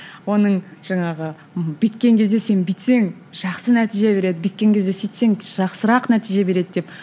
оның жаңағы бүйткен кезде сен бүйтсең жақсы нәтиже береді бүйткен кезде сөйтсең жақсырақ нәтиже береді деп